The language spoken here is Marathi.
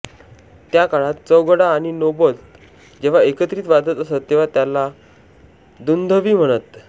त्या काळात चौघडा आणि नौबत जेव्हा एकत्रित वाजत असत तेव्हा त्याला दुंदुभी म्हणत